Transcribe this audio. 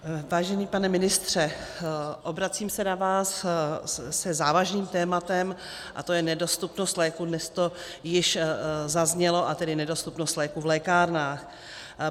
Vážený pane ministře, obracím se na vás se závažným tématem, a to je nedostupnost léků - dnes to již zaznělo - a tedy nedostupnost léků v lékárnách.